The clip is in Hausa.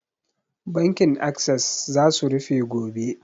Bankin assess za su rufe gobe